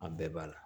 An bɛɛ b'a la